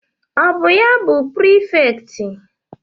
Ọ bụ ya bụ prifekt?